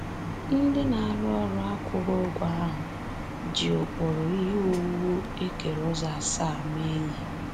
Ndị na-arụ ọrụ akwụghị ụgwọ ahụ ji ụkpụrụ ihe owuwu e kere ụzọ asaa mee ihe.